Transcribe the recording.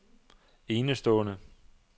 enestående